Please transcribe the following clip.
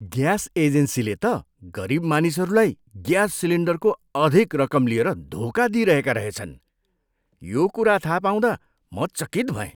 Gas एजेन्सीले त गरिब मानिसहरूलाई ग्यास सिलिन्डरको अधिक रकम लिएर धोका दिइरहेका रहेछन्। यो कुरा थाहा पाउँदा म चकित भएँ।